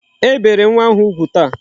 E bere nwa ahụ ugwu taa.